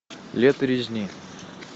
лето резни